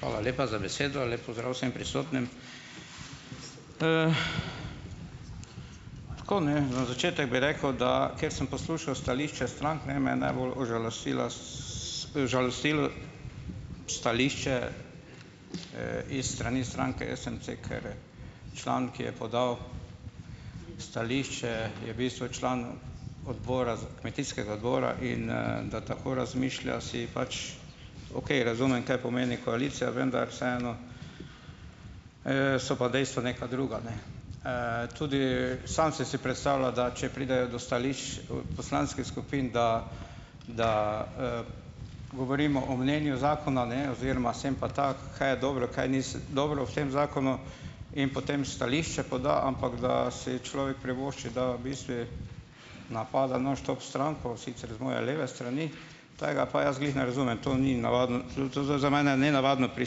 Hvala lepa za besedo! Lep pozdrav vsem prisotnim! Tako, ne, za začetek bi rekel, da, ker sem poslušal stališča strank, ne, me je najbolj užalostila užalostilo stališče, iz strani stranke SMC, ker član, ki je podal stališče, je v bistvu član odbora, kmetijskega odbora in, da tako razmišlja si pač, okej, razumem kaj pomeni koalicija, vendar vseeno, so pa dejstva neka druga, ne. Tudi sam sem si predstavljal, da če pridejo do stališč, poslanskih skupin, da da, govorimo o mnenju zakona, ne, oziroma, sem pa tako, kaj je dobro, kaj ni dobro v tem zakonu in potem stališča poda, ampak, da si človek privošči, da bistvu napada nonstop stranko, sicer z moje leve strani, tega pa jaz glih ne razumem. To ni navaden, to, to zdaj za mene nenavadno pri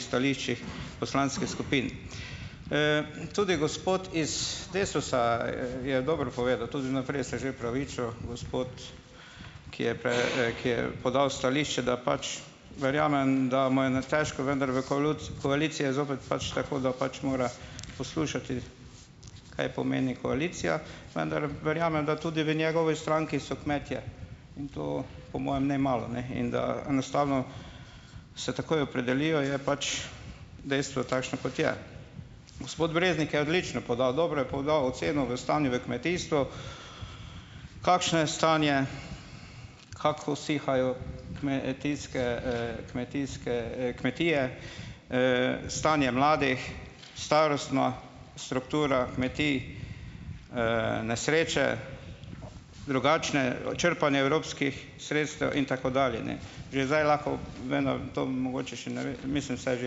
stališčih poslanskih skupin. Tudi gospod iz Desusa je dobro povedal, tudi vnaprej se je že opravičil gospod, ki je ki je podal stališče, da pač, verjamem da mu je, ne, težko, vendar v koaliciji je zopet pač tako, da pač mora poslušati, kaj pomeni koalicija, vendar verjamem, da tudi v njegovi stranki so kmetje in to, po mojem, ne malo, ne, in da enostavno se takoj opredelijo, je pač dejstvo takšno, kot je. Gospod Breznik je odlično podal, dobro je podal oceno v stanju v kmetijstvu. Kakšno je stanje, kako usihajo kmetijske, kmetijske, kmetije. Stanje mladih, starostna struktura kmetij, nesreče, drugačne, črpanje evropskih sredstev in tako dalje, ne. Že zdaj lahko, vem, da to mogoče še ne ve, mislim, saj že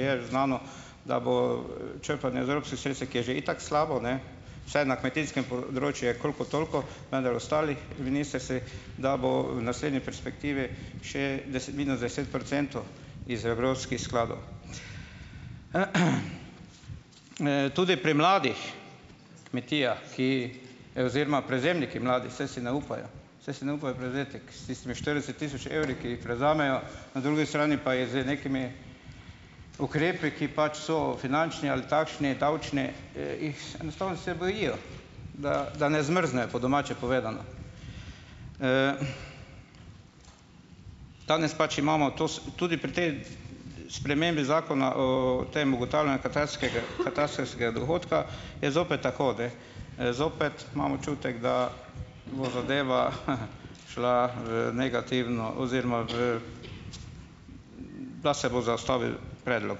je znano, da bo črpanje iz evropskih sredstev, ki je že itak slabo, ne, vsaj na kmetijskem področju je kolikor toliko, vendar ostalih ministrstvih, da bo v naslednji perspektivi še deset minus deset procentov iz evropskih skladov. Tudi pri mladih kmetijah, ki oziroma prevzemniki mladi, saj si ne upajo, saj si ne upajo prevzeti ko se tistimi štirideset tisoč evri, ki jih prevzamejo, na drugi strani pa je z nekimi ukrepi, ki pač so finančni ali takšni, davčni, jih, enostavno se jih bojijo, da, da ne zmrznejo, po domače povedano. Danes pač imamo to tudi pri tej spremembi zakona o tem ugotavljanju katarskega, katastrskega dohodka, je zopet tako, da, zopet imam občutek, da bo zadeva, šla v negativno oziroma v - da se bo zaustavil predlog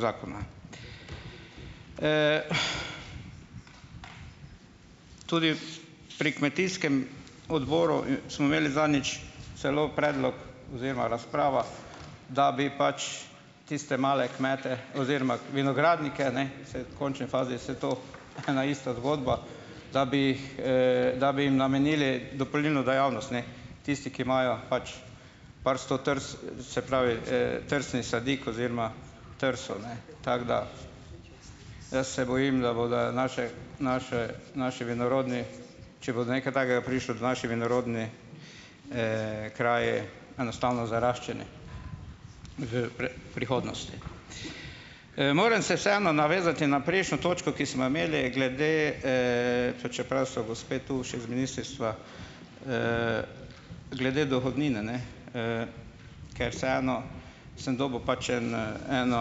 zakona. Tudi pri kmetijskem odboru, smo imeli zadnjič celo predlog oziroma razprava, da bi pač tiste male kmete oziroma vinogradnike, ne, saj v končni fazi je vse to ena ista zgodba, da bi, da bi jim namenili dopolnilno dejavnost, ne. Tisti, ki imajo pač par sto se pravi, trsnih sadik oziroma trsov, ne. Tako da jaz se bojim, da bodo naše naše, naše vinorodni, če bo do nekaj takega prišlo, da naši vinorodni kraji - enostavno zaraščeni v prihodnosti. Moram se vseeno navezati na prejšnjo točko, ki smo jo imeli glede, pa čeprav so gospe tu še z ministrstva, glede dohodnine, ne, ker vseeno sem dobil pač en, eno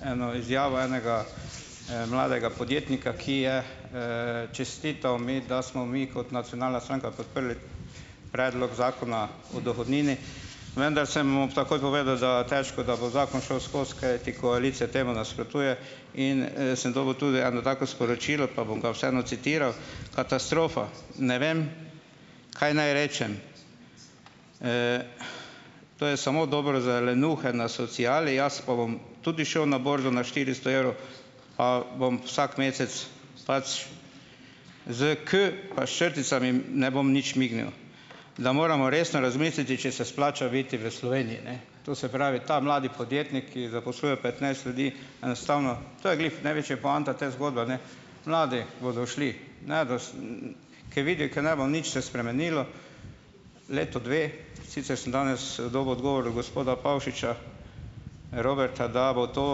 eno izjavo enega, mladega podjetnika, ki je, čestital mi, da smo mi kot nacionalna stranka podprli predlog zakona o dohodnini, vendar sem mu takoj povedal, da težko, da bo zakon šel skozi, kajti koalicija temu nasprotuje in, sem dobil tudi eno tako sporočilo, pa bom ga vseeno citiral: "Katastrofa." Ne vem, kaj naj rečem. To je samo dobro za lenuhe na sociali, jaz pa bom tudi šel na borzo, na štiristo evrov pa bom vsak mesec s pač s kot pa s črticami ... ne bom nič mignil. Da moramo resno razmisliti, če se splača biti v Sloveniji, ne. To se pravi, ta mladi podjetnik, ki zaposluje petnajst ljudi enostavno, to je glih največja poanta te zgodbe, ne, mladi bodo šli. Ne ... Ker vidijo, ker ne bo nič se spremenilo, leto dve, sicer sem danes, dobil odgovor gospoda Pavšiča Roberta, da bo to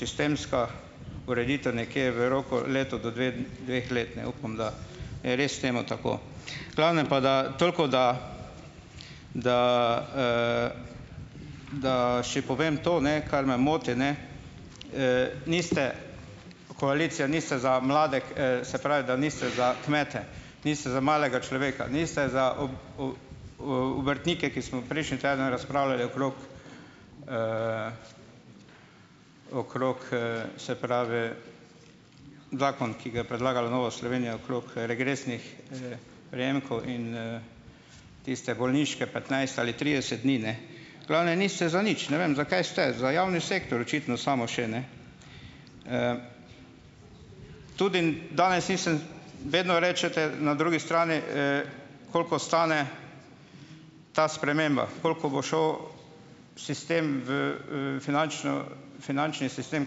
sistemska ureditev nekje v roku leto do dve dveh let, ne. Upam, da je res temu tako. Glavnem pa da, toliko da da, da še povem to, ne, kar me moti, ne. Niste, koalicija niste za mlade, se pravi, da niste za kmete. Niste za malega človeka. Niste za obrtnike, ki smo prejšnji teden razpravljali okrog, okrog, se pravi, zakon, ki ga je predlagala Nova Slovenija okrog, regresnih, prejemkov in, tiste bolniške petnajst ali trideset dni, ne. Glavnem, niste za nič. Ne vem, za kaj ste. Za javni sektor očitno samo še, ne. Tudi danes nisem, vedno rečete na drugi strani, koliko stane ta sprememba, koliko bo šel sistem v, finančno finančni sistem,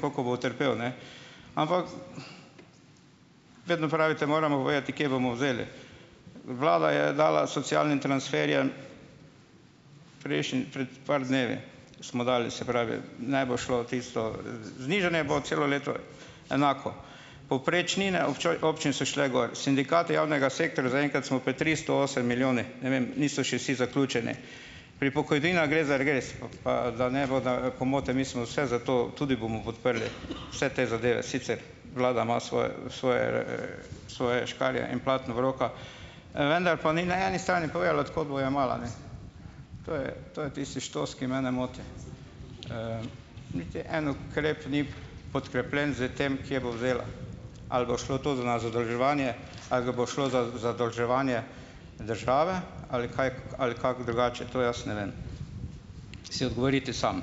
koliko bo utrpel, ne. Ampak, vedno pravite, moramo povedati, kje bomo vzeli. Vlada je dala socialnim transferjem prejšnji pred par dnevi smo dali, se pravi, ne bo šlo tisto, znižanje bo celo leto enako. Povprečnine občini so šle gor. Sindikati javnega sektorja zaenkrat smo pri tristo osem milijoni, ne vem, niso še vsi zaključeni. Pri pokojninah gre za regres, pa da ne bo da pomote, mi smo vse za to, tudi bomo podprli vse te zadeve, sicer vlada ima svoje svoje, svoje škarje in platno v rokah, vendar pa ni na eni strani povedala, od kod bo jemala, ne. To je to je tisti "štos", ki mene moti. Niti en ukrep ni podkrepljen zdaj tem, kje bo vzela. Ali bo šlo to za na zadolževanje, ali ga bo šlo za zadolževanje države, ali kaj ali kako drugače, to jaz ne vem. Si odgovorite sam.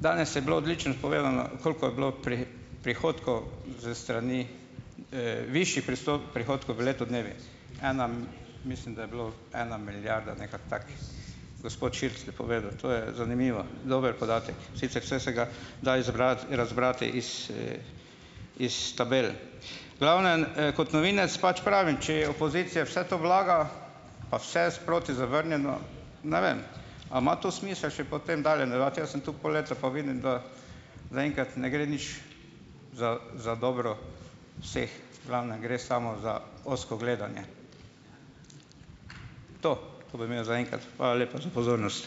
Danes je bilo odlično povedano, koliko je bilo prihodkov s strani, višjih prihodkov v letu dnevih. Ena, mislim da je bilo ena milijarda, nekaj tako. Gospod Šircelj je povedal. To je, zanimivo, dober podatek. Sicer, saj se ga da izbrati razbrati iz, iz tabel. V glavnem, kot novinec pač pravim, če je opozicija vse to vlaga pa vse je sproti zavrnjeno, ne vem, a ima to smisel še potem dalje nadaljevati, jaz sem tu pol leta pa vidim, da zaenkrat ne gre nič za za dobro vseh, v glavnem gre samo za ozko gledanje. To to bi imel zaenkrat. Hvala lepa za pozornost.